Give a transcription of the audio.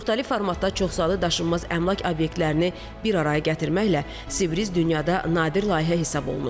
Müxtəlif formatda çoxsaylı daşınmaz əmlak obyektlərini bir araya gətirməklə Sibris dünyada nadir layihə hesab olunur.